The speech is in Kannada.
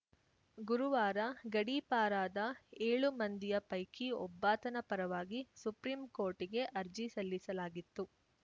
ಗುರುವಾರ ಗಡೀಪಾರಾದ ಏಳು ಮಂದಿಯ ಪೈಕಿ ಒಬ್ಬಾತನ ಪರವಾಗಿ ಸುಪ್ರೀಂಕೋರ್ಟಿಗೆ ಅರ್ಜಿ ಸಲ್ಲಿಸಲಾಗಿತ್ತು